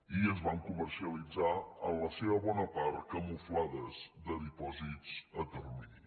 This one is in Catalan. i es van comercialitzar en la seva bona part camuflades de dipòsits a termi·ni